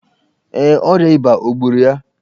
Ee, ọrịa ịba gburu ya.